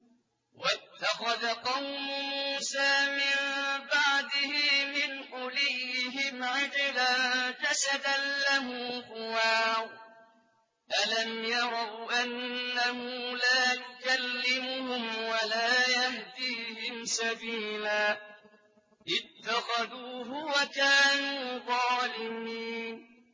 وَاتَّخَذَ قَوْمُ مُوسَىٰ مِن بَعْدِهِ مِنْ حُلِيِّهِمْ عِجْلًا جَسَدًا لَّهُ خُوَارٌ ۚ أَلَمْ يَرَوْا أَنَّهُ لَا يُكَلِّمُهُمْ وَلَا يَهْدِيهِمْ سَبِيلًا ۘ اتَّخَذُوهُ وَكَانُوا ظَالِمِينَ